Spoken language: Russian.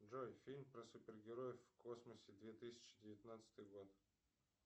джой фильм про супергероев в космосе две тысячи девятнадцатый год